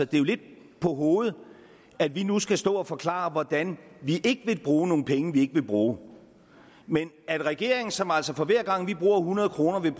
det lidt på hovedet at vi nu skal stå og forklare hvordan vi ikke vil bruge nogle penge vi ikke vil bruge mens regeringen som altså for hver gang vi bruger hundrede kr